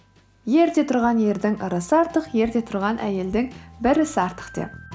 ерте тұрған ердің ырысы артық ерте тұрған әйелдің бір ісі артық деп